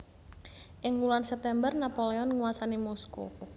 Ing wulan September Napoleon nguwasani Moskow